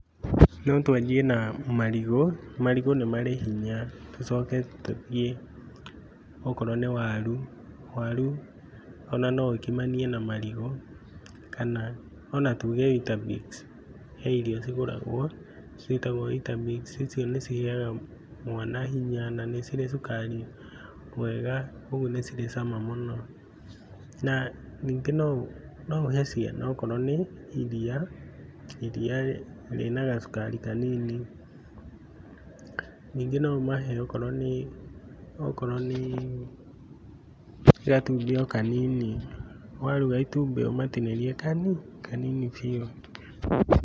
No twanjie na marigũ, marigũ nĩ marĩ hinya, tũcoke tũthiĩ okorwo nĩ waru, waru o na no ũkimanie na marigũ kana o na tuge weetabix, he irio cigũragwo ciĩtagwo weetabix, icio nĩ cihega mwana hinya na nĩ cirĩ cukari mwega kũguo nĩ cirĩ cama mũno na ningĩ no ũhe ciana okorwo nĩ iria, iria rĩna gacukari kanini ningĩ no ũmahe okorwo nĩ gatumbĩ o kanini, waruga itumbĩ ũmatinĩrie kani, kanini biũ